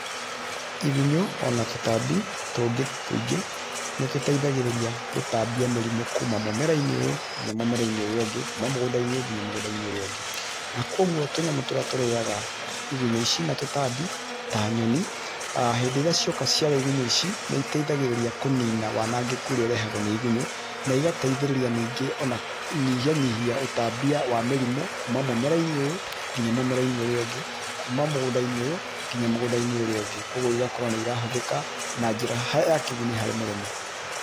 Igunyũ ona tũtambi tũngĩ tũingĩ nĩ tũteithagĩrĩria gũtambia mĩrimũ kuma mũmera-inĩ ũyũ nginya mũmera-inĩ ũrĩa ũngĩ kuma mũgũnda -inĩ ũyũ nginya mũgũnda-inĩ ũngĩ, na kwoguo tũnyamũ tũrĩa tũrĩaga igunyũ na tũtambi ta nyoni hĩndĩ ĩrĩa cioka ciarĩa igunyũ ici nĩiteithagĩrĩria kũnina wanangĩku ũrĩa ũrehagwo nĩ igunyũ na igateithĩrĩria ningĩ ona kũnyihanyihia ũtambia wa mĩrimũ kuma mũmera -inĩ ũyũ nginya mũmera-inĩ ũrĩa ũngĩ kuma mũgũnda -inĩ inĩ ũyũ nginya mũgũnda-inĩ ũrĩa ũngĩ, kwoguo igakora nĩirahũthĩka na njĩra ya kĩguni harĩ mũrĩmi